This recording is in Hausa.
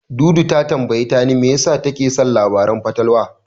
Dudu ta tambayi Tani me yasa take son labaran fatalwa.